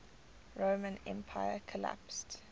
roman empire collapsed